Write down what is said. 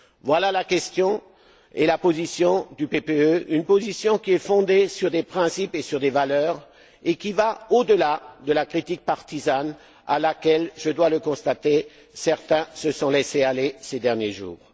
Voilà la question et la position du PPE, une position qui est fondée sur des principes et sur des valeurs, et qui va au delà de la critique partisane à laquelle je dois le constater certains se sont laissés aller ces derniers jours.